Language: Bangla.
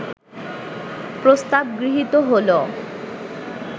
প্রস্তাব গৃহীত হলো